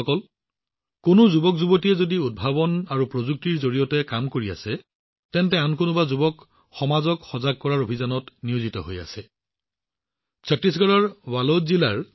বন্ধুসকল যদি কিছুমান যুৱকযুৱতীয়ে উদ্ভাৱন আৰু প্ৰযুক্তিৰ জৰিয়তে কাম কৰি আছে তেন্তে ছত্তীশগড়ৰ বালোদ জিলাৰ যুৱকযুৱতীসকলৰ দৰে সমাজক সজাগ কৰাৰ অভিযানত নিয়োজিত বহু যুৱকযুৱতী আছে